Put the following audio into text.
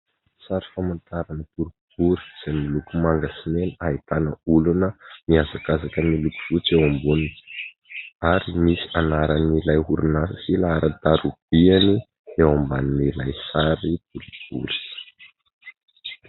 Sary famantarana boribory izay miloko manga sy mena, ahitana olona mihazakazaka miloko fotsy eo amboniny ary nisy anaran'ilay orinasa sy laharan-tarobiany eo ambany ilay sary boribory.